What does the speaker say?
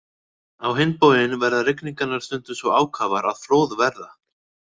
Á hinn bóginn verða rigningarnar stundum svo ákafar að flóð verða.